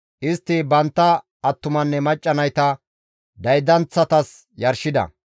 Istti bantta attumanne macca nayta daydanththatas yarshida.